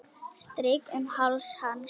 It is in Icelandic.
Strýk um háls hans.